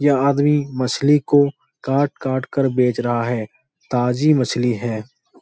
यह आदमी मछली को काट काट कर बेच रहा है । ताज़ी मछली है ।